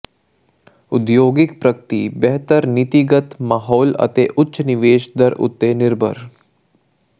ਉਦਯੋਗਿਕ ਪ੍ਰਗਤੀ ਬਿਹਤਰ ਨੀਤੀਗਤ ਮਾਹੌਲ ਅਤੇ ਉਚ ਨਿਵੇਸ਼ ਦਰ ਉਤੇ ਨਿਰਭਰ